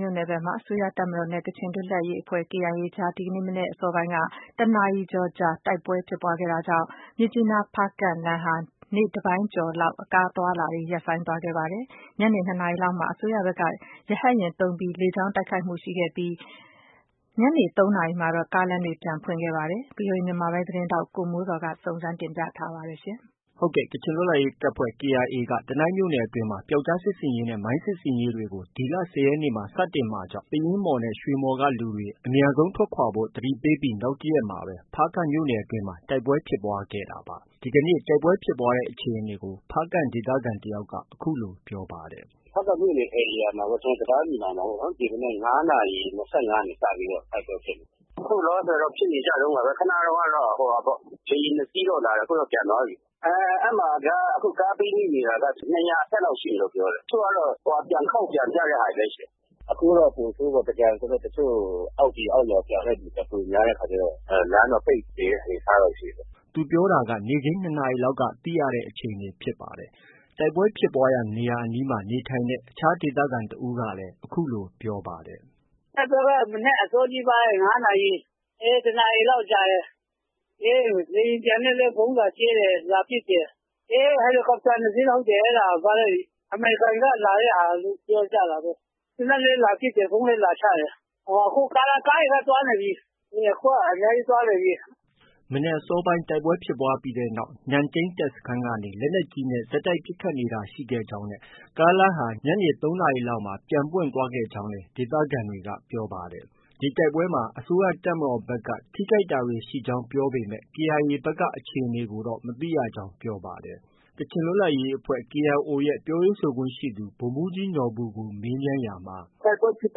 မြို့နယ်မှာ အစိုးရတပ်မတော်နဲ့ ကချင်လွတ်လပ်ရေးအဖွဲ့ KIA အကြား ဒီကနေ့ မနက် အစောပိုင်းက တစ်နာရီကျော်ကြာ တိုက်ပွဲဖြစ်ပွားခဲ့တာကြောင့် မြစ်ကြီးနား-ဖားကန့်လမ်းဟာ နေ့တပိုင်းကျော် လောက် ကားအသွားအလာတွေ ရပ်ဆိုင်းသွားခဲ့ပါတယ်။ ညနေ ၂နာရီလောက်မှာ အစိုးရဖက် က ရဟတ်ယာဉ်သုံးပြီး လေကြောင်းက တိုက်ခိုက်တာတွေ ရှိခဲ့သလို ၃နာရီလောက်မှာတော့ ကားလမ်းပြန်ပွင့် သွားခဲ့ပါတယ်။ ဒီသတင်းကို ဗီအိုအေ မြန်မာပိုင်းသတင်းထောက် ကိုမိုးဇော်က တင်ပြထားပါတယ်။ ကချင်လွတ်လပ်ရေးတပ်ဖွဲ့ KIA က တနိုင်းမြို့နယ်အတွင်းမှာ ပြောက်ကျားစစ်ဆင်ရေးနဲ့ မိုင်းစစ်ရေး တွေ ဒီလ ၁၀ရက်နေ့မှာ စတင်မှာကြောင့် ပယင်းမှော်၊ ရွှေမှော်က လူတွေ အမြန်ဆုံးထွက်ခွာဖို့ သတိပေးပြီး နောက်တရက်မှာပဲ ဖားကန့်မြို့နယ်အတွင်းမှာ တိုက်ပွဲဖြစ်ပွားခဲ့တာပါ။ ဒီနေ့ တိုက်ပွဲဖြစ်ပွားတဲ့ အခြေအနေကို ဖားကန့်ဒေသခံ တယောက်က အခုလို ပြောပါတယ်။ “ဖားကန့်မြို့နယ် ဧရိယာမှာပေါ့၊ ကျနော်တို့ တံတားညီနောင်မှာ ပေါ့။ ဒီမနက် ၅နာရီ ၂၅က စတိုက်ပွဲဖြစ်တာ။ ခုလောလောဆည်တော့ ဖြစ်နေကြတုံးပဲ။ ခုနတုံးက လေယာဉ် ၂စီးတော့ လာတယ် ခု ပြန်သွားပြီ။ ခု အဲမှာက ကားပိတ်မိနေတာက ၂၀၀ အထက်လောက်ရှိတယ်ပြောတယ်။ တချို့က ပြန်ခေါက် ပြန်ကြတာလည်း ရှိတယ်။ ခုက ပိုဆိုးပေါ့။ ခုက သင်္ကြန် ဆိုတော့ အောက်ပြည်အောက်ရွာပြန်တဲ့သူက ပိုများတဲ့အခါကျတော့ လမ်းတော့ပိတ်နေတဲ့ အနေအထား ရှိတယ်။ ” သူပြောတာက နေ့ခင်း ၂နာရီက သိရတဲ့ အခြေအနေဖြစ်ပါတယ်။ တိုက်ပွဲဖြစ်ပွားရာ နေရာအနီးမှာ နေထိုင်တဲ့ အခြား ဒေသခံတဦးကလည်း အခုလို ပြောပါတယ်။ “တိုက်ပွဲက မနက်အစောကြီးပိုင်း ၅နာရီ၊ အေး တစ်နာရီလောက် ကြာတယ်။ လေယာဉ်ပျံနဲ့လည်း ဗုံးလာ ကြဲ တယ် လာပစ်တယ်။ ဟယ်လီကော်ပတာ ၂စီး အဲဒါ ၊ အမေရိကန်ကလုပ်တယ်ပြောကြတာပဲ။ သေနတ်နဲ့ လည်း ပစ်တယ်၊ ဗုံးလည်းလာချတယ်။ အခုက ကားတွေလည်း သွားနေပြီ။ အများကြီးသွားနေပြီ။” မနက်အစောပိုင်း တိုက်ပွဲ ဖြစ်ပွားပြီးနောက်မှာ နန့်တိန်းစခန်းကနေ လက်နက်ကြီးနဲ့ ဆက်တိုက်ပစ်ခတ် နေတာ ရှိခဲ့ကြောင်းနဲ့ ကားလမ်းဟာ ညနေ ၃နာရီလောက်မှာ ပွင့်သွားခဲ့ကြောင်းလည်း ဒေသခံတွေက ပြောပါတယ်။ ဒီတိုက်ပွဲအတွင်းမှာ အစိုးရတပ်မတော်ဖက်က ထိခိုက်တာတွေ ရှိကြောင်း ပြောပေမဲ့ KIA ဖက်က အခြေအနေကို မသိရကြောင်း ပြောပါတယ်။ ကချင်လွတ်လပ်ရေးအဖွဲ့ KIO ရဲ့ ပြောရေးဆိုခွင့်ရှိသူ ဗိုလ်မှုးကြီးနော်ဘူကို မေးမြန်းရာမှာ - “တိုက်ပွဲဖြစ်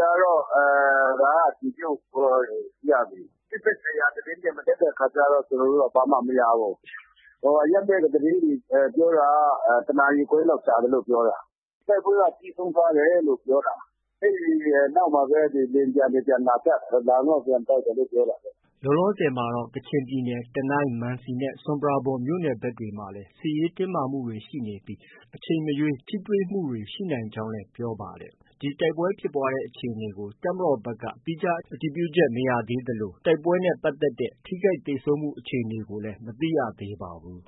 တာကတော့ ဒါက အတည်ပြုလို့ ရပြီ။ စစ်ဖက်ဆိုင်ရာသတင်းတွေ မတက်တဲ့အခါကျတော့ ကျနော်တို့ ဘာမှမရဘူး။ အရပ်ဖက်က သတင်းတွေ ပြောတာက တနာရီခွဲလောက် ကြာတယ်လို့ ပြောတယ်။ တိုက်ပွဲက ပြီးဆုံးသွားတယ်လို့ ပြောတာ။ အဲဒီနောက်မှပဲ လေယာဉ်ပျံတွေ ပြန်လာကြ၊ လာပြီးမှ ပြန်တိုက်တယ်လို့ ပြောတာပဲ။” လောလောဆည်မှာတော့ ကချင်ပြည်နယ် တနိုင်း၊ မန်စီနဲ့ ဆွမ်ပရာဘွမ် မြို့နယ်ဖက်တွေမှာလည်း စစ်ရေး တင်းမာမှုတွေ ရှိနေပြီး အချိန်မရွေး ထိတွေ့မှုတွေ ရှိနိုင်ကြောင်းလည်း ပြောပါတယ်။ ဒီတိုက်ပွဲဖြစ်ပွားတဲ့ အခြေအနေကို တပ်မတော်ဖက်က သီးခြား အတည်ပြုချက်တော့ မရပါဘူး။ တိုက်ပွဲနဲ့ ပတ်သက်တဲ့ ထိခိုက်သေဆုံးမှုအခြေအနေကိုလည်း မသိရသေးပါဘူး။